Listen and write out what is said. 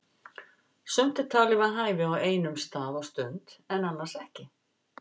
Sumt er talið við hæfi á einum stað og stund en annars ekki.